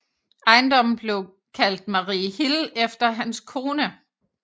Ejendommen blev kaldt Mariehill efter hans kone